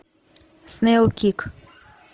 снейлкик